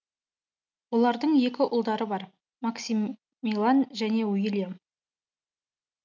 олардың екі ұлдары бар максимилиан және уилльям